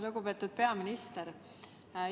Lugupeetud peaminister!